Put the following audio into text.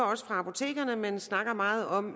også fra apotekerne at man snakker meget om